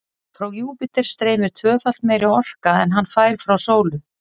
Frá Júpíter streymir tvöfalt meiri orka en hann fær frá sólu.